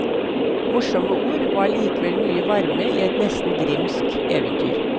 Morsomme ord og allikevel mye varme i et nesten grimmsk eventyr.